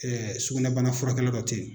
Ɛɛ sugunɛbana furakɛla dɔ tɛ yen.